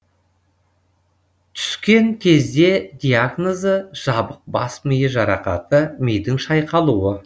түскен кезде диагнозы жабық бас миы жарақаты мидың шайқалуы